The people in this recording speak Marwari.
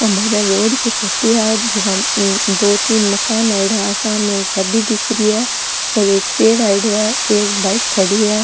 जका में दो तीन मकान आयेड़ा आ सामे एक गाड़ी दिख रही है और एक पेड़ आयोड़ो है एक बाइक खड़ी है।